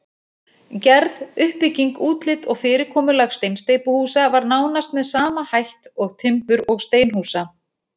Gerð, uppbygging, útlit og fyrirkomulag steinsteypuhúsa var nánast með sama hætt og timbur- og steinhúsa.